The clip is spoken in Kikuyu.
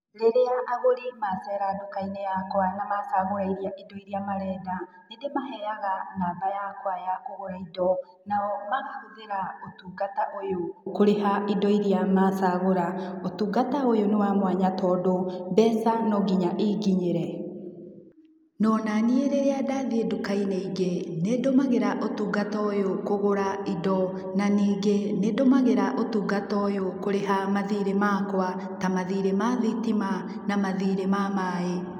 Rĩrĩa agũri macera ndũka-inĩ yakwa namacagũra indo irĩa marenda, nĩndĩmaheyaga namba yakwa ya kũgũra indo, na o makahũthĩra ũtungata ũyũ kũriha indo irĩa macagũra. Ũtungata ũyũ nĩ wa mwanya tondũ mbeca no nginya inginyĩre. O naniĩ rĩrĩa ndathiĩ ndũka-inĩ ingĩ nĩndũmagĩra ũtungata ũyũ kũgũra indo na ningĩ nĩndũmagĩra ũtungata ũyũ kũrĩha mathirĩ makwa na mathirĩ ma thitima na mathirĩ ma maaĩ.